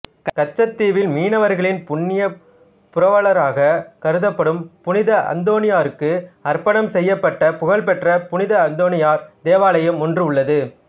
கச்சத்தீவில் மீனவர்களின் புண்ணிய புரவலராக கருதப்படும் புனித அந்தோணியாருக்கு அர்ப்பணம் செய்யப்பட்ட புகழ்பெற்ற புனித அந்தோணியார் தேவாலயம் ஒன்று உள்ளது